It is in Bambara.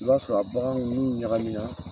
I b'a sɔrɔ a baganw n'u ɲagamina na.